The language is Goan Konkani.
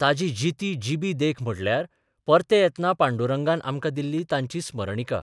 ताची जिती जिबी देख म्हटल्यार परते येतना पांडुरंगान आमकां दिल्ली तांची स्मरणिका.